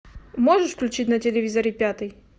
можешь включить на телевизоре пятый